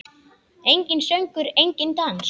Enginn söngur, enginn dans.